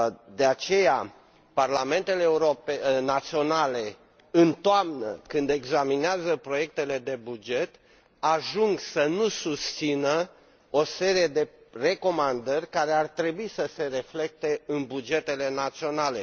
De aceea, parlamentele naționale, când examinează proiectele de buget în toamnă, ajung să nu susțină o serie de recomandări care ar trebui să se reflecte în bugetele naționale.